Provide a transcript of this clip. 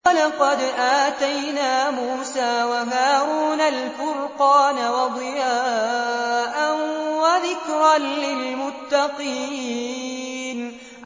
وَلَقَدْ آتَيْنَا مُوسَىٰ وَهَارُونَ الْفُرْقَانَ وَضِيَاءً وَذِكْرًا لِّلْمُتَّقِينَ